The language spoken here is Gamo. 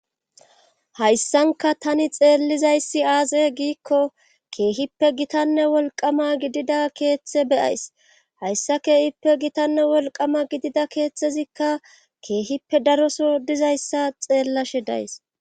hayssanka tani xeellizayssi aaxe giikko keehippe gitanne wolqama gidida keeththe beyays hayssa keehippe gitanne wolqama gidida keeththezikka keehippe daroso dizayssa xeellashe days.